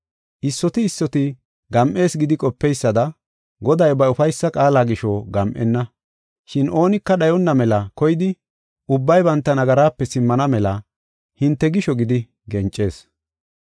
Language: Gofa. Issoti issoti gam7is gidi qopeysada, Goday ba ufaysa qaala gisho gam7enna. Shin oonika dhayonna mela koyidi, ubbay banta nagaraape simmana mela hinte gisho gidi gencees.